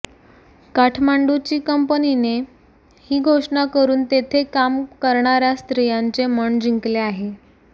काठमांडूची कंपनीने ही घोषणा करून तेथे काम करणार्या स्त्रियांचे मन जिंकले आहे